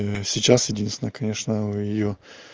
сейчас единственное конечно у её